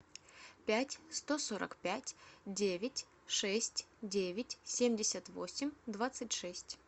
пять сто сорок пять девять шесть девять семьдесят восемь двадцать шесть